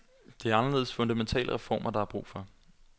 Det er anderledes fundamentale reformer, der er brug for.